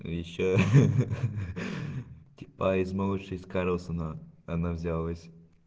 ещё ха-ха-ха типа из малыша из карлсона она взялась